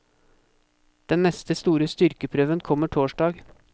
Den neste store styrkeprøven kommer torsdag.